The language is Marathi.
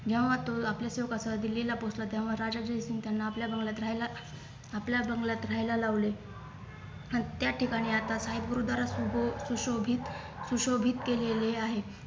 जेव्हा तो आपल्या सेवकासह दिल्लीला पोहोचला तेव्हा राजा जयसिंग त्यांना आपल्या बंगल्यात राहायला आपल्या बंगल्यात राहायला लावले आणि त्या ठिकाणी आता साहेब गुरुद्वारा सुशोभित सुशोभित केलेले आहे